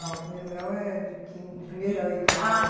o primeiro grau é do quin do primeiro ao oitavo. Ah